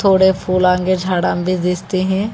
बड़े फूलन के झाड़न भी दीखते हैं।